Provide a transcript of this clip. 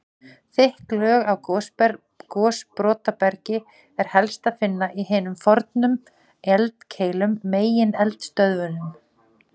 Þykk lög af gosbrotabergi er helst að finna í hinum fornu eldkeilum, megineldstöðvunum.